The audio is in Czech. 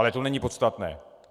Ale to není podstatné.